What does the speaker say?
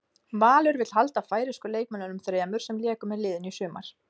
Valur vill halda færeysku leikmönnunum þremur sem léku með liðinu í sumar.